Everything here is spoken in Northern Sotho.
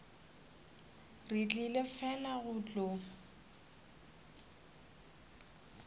re tlile fela go tlo